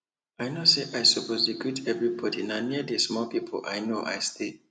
i know say i suppose dey greet everybody na near d small people i know i stay